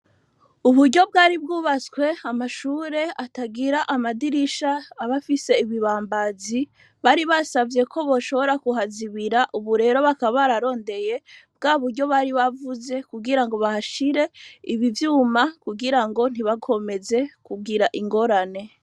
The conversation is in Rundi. Uburyo bwari bwubatswe amashuri atagira amadirisha aba afise ibibambazi, bari basavye ko boshobora kuhazibirira ubu rero bakaba bararondeye bwa buryo bari bavuze kugirango bahashire ibi vyuma kugirango ntibakomeze kugira ingorane.